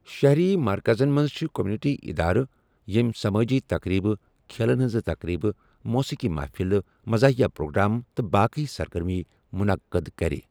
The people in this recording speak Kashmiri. شَہری مرکزَن منٛز چھِ کمیونٹی اِدارٕ ییٚمۍ سمٲجی تقریبہٕ، کھیلَن ہٕنٛزِ تقریبہٕ، موسیقی مہفلہٕ، مزاہیا پروگرام تہٕ باقی سرگرمیہٕ مُنقعد کَرٕ۔